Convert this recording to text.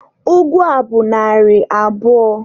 Ụgụ a bụ narị abụọ.